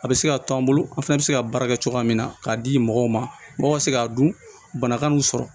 A bɛ se k'a to an bolo an fɛnɛ bɛ se ka baara kɛ cogoya min na k'a di mɔgɔw ma mɔgɔw ka se k'a dun banakan y'u sɔrɔ